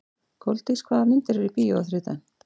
Koldís, hvaða myndir eru í bíó á þriðjudaginn?